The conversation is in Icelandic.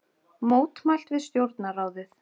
Mótmælt við Stjórnarráðið